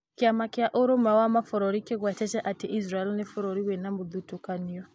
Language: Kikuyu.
Kĩama kĩa Ũrũmwe wa Mabũrũri kĩgwetete atĩ Isiraeli nĩ bũrũri wĩ na mũthutũkanio